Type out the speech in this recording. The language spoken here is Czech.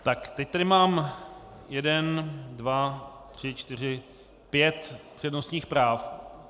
Tak teď tady mám jeden, dva, tři, čtyři, pět přednostních práv.